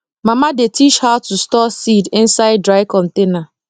mama dey teach how to store seed inside dry container